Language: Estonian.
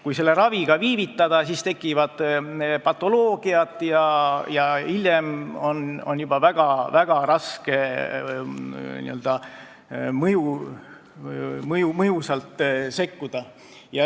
Kui raviga viivitada, siis tekivad patoloogiad ja hiljem on juba väga raske mõjusalt sekkuda.